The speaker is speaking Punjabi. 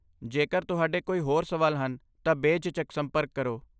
ਜੇਕਰ ਤੁਹਾਡੇ ਕੋਈ ਹੋਰ ਸਵਾਲ ਹਨ ਤਾਂ ਬੇਝਿਜਕ ਸੰਪਰਕ ਕਰੋ।